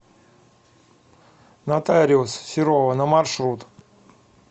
нотариус серова на маршрут